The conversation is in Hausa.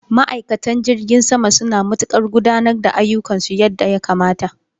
Ma'aikatan jirgin sama suna matukar gudanar da ayyukansu yadda ya kamata.